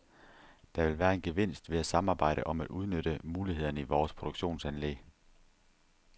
Der vil være en gevinst ved at samarbejde om at udnytte mulighederne i vores produktionsanlæg.